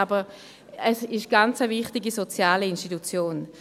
Aber es ist eine ganz wichtige soziale Institution.